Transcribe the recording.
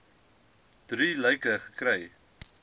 drie lyke gekry